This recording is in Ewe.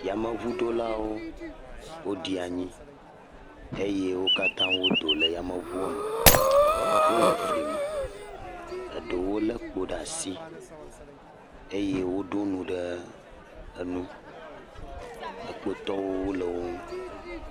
Yameŋuɖolawo woɖi anyi eye wo katã wodo le yameŋua me. Wole fli me, eɖewo le ekpo ɖe asi eye woɖo nu ɖe enu. Ekpotɔwo wo le wo nu.